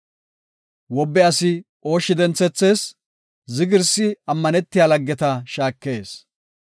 Wobe asi ooshshi denthethees; zigirsi ammanetiya laggeta shaakees.